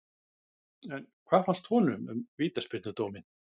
En hvað fannst honum um vítaspyrnudóminn?